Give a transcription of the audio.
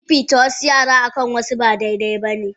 Fifita wasu yara akan wasu ba dai dai bane.